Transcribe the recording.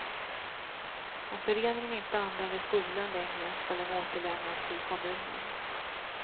Om föreningen inte använder skolan längre skall den återlämnas till kommunen.